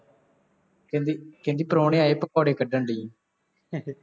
ਕਹਿੰਦੀ ਕਹਿੰਦੀ ਪ੍ਰਾਹੁਣੇ ਆਏ, ਪਕੌੜੇ ਕੱਢਣ ਡੇਈ ਆਂ